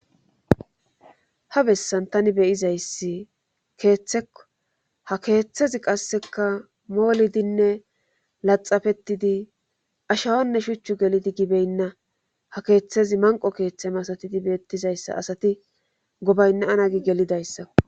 Ha bessan tani beyizayssi keeththekko ha keeththezi qasseka moolidinne laxafetidi ashawonne shuchchu gelidi gibeynna ha keeththezi manqo keeththem asatidi beettizayssa asati gobaynna anagi gelidayssa.